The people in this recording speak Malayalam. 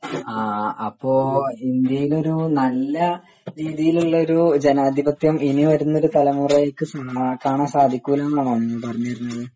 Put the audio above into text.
ആ അപ്പൊ ഇന്ത്യയിൽ ഒരു നല്ല രീതിയിൽ ഉള്ളൊരു ജനാധിപത്യം ഇനി വരുന്നൊരു തലമുറക്ക് കാണാൻ സാധിക്കില്ല എന്നാണോ നീ പറഞ്ഞുവരുന്നത്